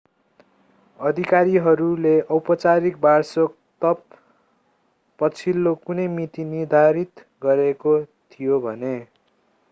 अधिकारीहरूले औपचारिक वार्षिकोत्सव पछिल्लो कुनै मिति निर्धारित गरिएको थियो भने